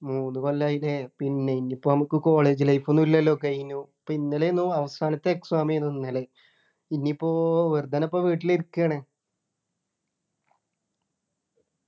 മൂന്നു കൊല്ലായില്ലേ പിന്നെ ഇനിയിപ്പോ നമുക്ക് college life ഒന്നും ഇല്ലല്ലോ കഴിഞ്ഞു അപ്പൊ ഇന്നലെയെന്നു അവസാനത്തെ exam ഏനു ഇന്നലെ ഇനീപ്പോ വെറുതെ ആണ് പ്പോ വീട്ടിൽ ഇരിക്കാണ്